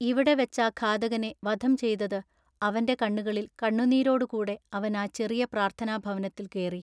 ഇവിടെ വെച്ചാ ഘാതകനെവധം ചെയ്തത് അവൻ്റെ കണ്ണുകളിൽ കണ്ണുനീരോടു കൂടെ അവൻ ആ ചെറിയ പ്രാർത്ഥനാഭവനത്തിൽ കേറി.